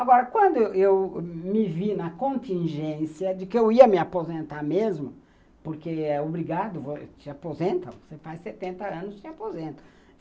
Agora, quando eu eu me vi na contingência de que eu ia me aposentar mesmo, porque é obrigado, te aposentam, você faz setenta anos e te aposentam.